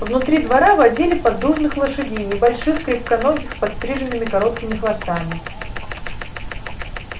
внутри двора водили поддужных лошадей небольших крепконогих с подстриженными короткими хвостами